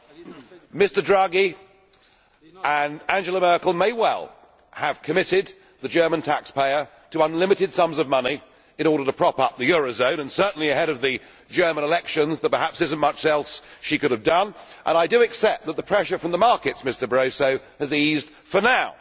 Mr Draghi and Angela Merkel may well have committed the German taxpayer to unlimited sums of money in order to prop up the eurozone, and certainly ahead of the German elections there is perhaps not much else she could have done and I do accept that the pressure from the markets, Mr Barroso, has eased for now.